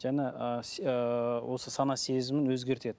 жана ыыы ыыы осы сана сезімін өзгертеді